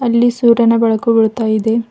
ಇಲ್ಲಿ ಸೂರ್ಯನ ಬೆಳಕು ಬೀಳ್ತಾ ಇದೆ.